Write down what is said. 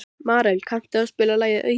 Marel, kanntu að spila lagið „Auður“?